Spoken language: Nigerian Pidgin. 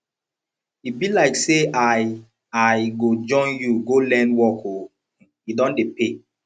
e be like say i i go join you go learn work oo e don dey pay